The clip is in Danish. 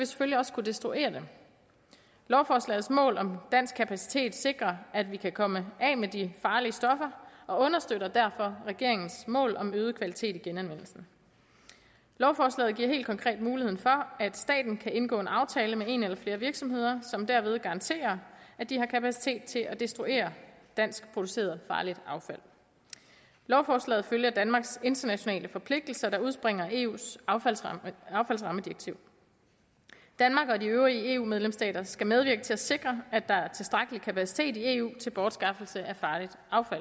selvfølgelig også kunne destruere dem lovforslagets mål om dansk kapacitet sikrer at vi kan komme af med de farlige stoffer og understøtter derfor regeringens mål om øget kvalitet i genanvendelsen lovforslaget giver helt konkret mulighed for at staten kan indgå en aftale med en eller flere virksomheder som derved garanterer at de har kapacitet til at destruere dansk produceret farligt affald lovforslaget følger danmarks internationale forpligtelser der udspringer af eus affaldsrammedirektiv danmark og de øvrige eu medlemsstater skal medvirke til at sikre at der er tilstrækkelig kapacitet i eu til bortskaffelse af farligt